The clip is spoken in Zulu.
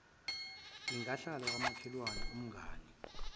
ingahlala kwamakhelwane umngane